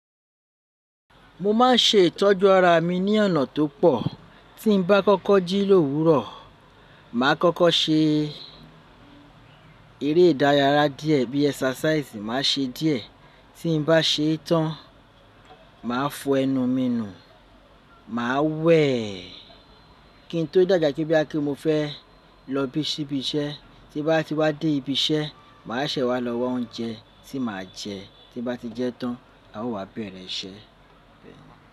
Mo ma n ṣe ìtọ́jú ara mi ni ọ̀nà tó pọ̀. Tí n bá kọ́kọ́ jí l'òwúrọ̀, màá kọ́kọ́ ṣe eré ìdárayára díẹ̀ bí i exercise ma ṣe díẹ̀. Tí n bá ṣe tán, màá fọ ẹnu mi nù, màá wẹ̀. Kí n tó dàabaà pe bóyá pe kí mo fẹ́ lọ ṣíbí iṣẹ́. Tí bá ti wá dé ibi iṣẹ́, màá ṣẹ̀ wá lọ wa oúnjẹ tí màá jẹ. Tí n bá ti jẹ tán, a ó wá bẹ̀rẹ̀ iṣẹ́.